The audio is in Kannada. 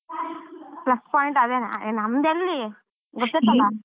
plus point ಅದೇನೆ ಅಹ್ ನಮ್ದೆಲ್ಲಿ ಗೊತ್ತೈತಲ್ಲ.